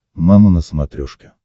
мама на смотрешке